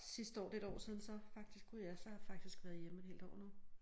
Sidste år det et år siden så faktisk gud ja så har jeg faktisk været hjemme et helt år nu